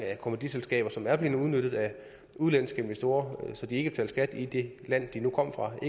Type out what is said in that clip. kommanditselskaber som er blevet udnyttet af udenlandske investorer så de ikke betalte skat i det land de nu kom fra og